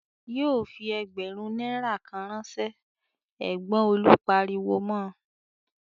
"Yóò fi ẹgbẹ̀rún náírà kan ránṣẹ́!" Ẹ̀gbọ́n Olú pariwo mọ.